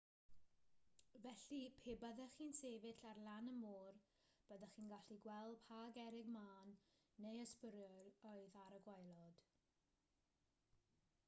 felly pe byddech chi'n sefyll ar lan y môr byddech chi'n gallu gweld pa gerrig mân neu ysbwriel oedd ar y gwaelod